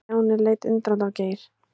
Stjáni leit undrandi á Geir.